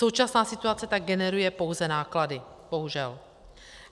Současná situace tak generuje pouze náklady, bohužel.